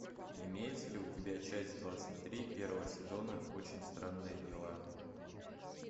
имеется ли у тебя часть двадцать три первого сезона очень странные дела